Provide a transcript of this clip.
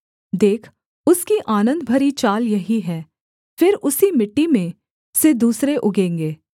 देख उसकी आनन्द भरी चाल यही है फिर उसी मिट्टी में से दूसरे उगेंगे